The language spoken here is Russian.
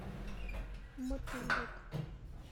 мотылек